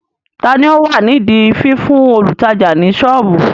Tani ó wà nídi fífún olùtajà ní soobu?